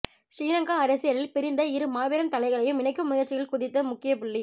சிறிலங்கா அரசியலில் பிரிந்த இரு மாபெரும் தலைகளையும் இணைக்கும் முயற்சியில் குதித்த முக்கிய புள்ளி